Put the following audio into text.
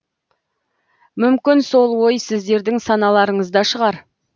мүмкін сол ой сіздердің саналарыңызда шығар